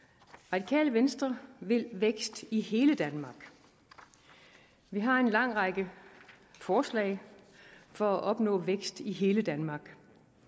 radikale venstre vil vækst i hele danmark vi har en lang række forslag for at opnå vækst i hele danmark